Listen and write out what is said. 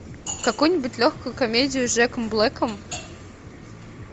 какую нибудь легкую комедию с джеком блэком